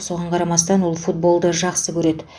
соған қарамастан ол футболды жақсы көреді